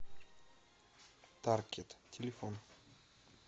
таркет телефон